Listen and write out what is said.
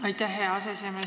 Aitäh, hea aseesimees!